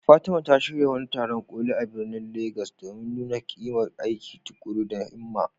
Fatima ta shirya wani taron ƙoli a birnin Legas domin nuna ƙimar aiki tuƙuru da himma.